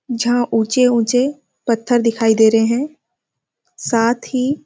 जहाँ ऊँचे -ऊँचे पत्थर दिखाई दे रहे है साथ ही --